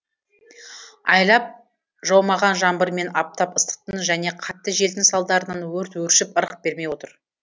айлап жаумаған жаңбыр мен аптап ыстықтың және қатты желдің салдарынан өрт өршіп ырық бермей отыр